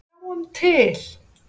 En sjáum til.